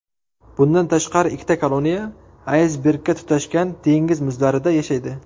Bundan tashqari ikkita koloniya aysbergga tutashgan dengiz muzlarida yashaydi.